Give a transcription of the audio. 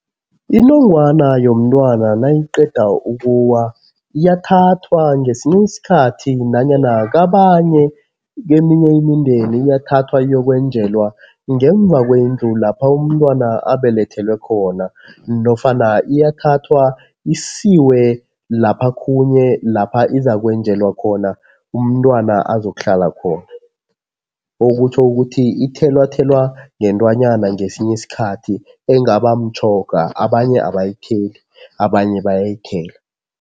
Inongwana yomntwana nayiqeda ukuwa iyathathwa, ngesinye isikhathi nanyana kabanye, keminye imindeni iyathathwa iyokwenjelwa ngemva kwendlu lapha umntwana abelethelwe khona nofana iyathathwa isiwe lapha khunye lapha izakwenjelwa khona umntwana azokuhlala khona. Okutjho ukuthi ithelwathelwa ngentwanyana ngesinye isikhathi engaba mtjhoga, abanye abayitheli, abanye bayayithela.